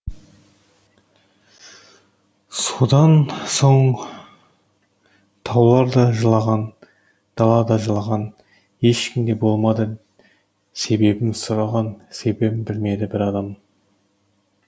содан соң таулар да жылаған дала да жылаған ешкім де болмады себебін сұраған себебін білмеді бір адам